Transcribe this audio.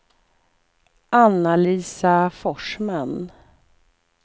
Anna-Lisa Forsman